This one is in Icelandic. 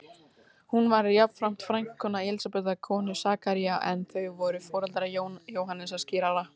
Hún var jafnframt frændkona Elísabetar konu Sakaría, en þau voru foreldrar Jóhannesar skírara.